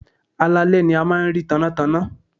Alaalẹ́ ni a máa ń rí tannátanná.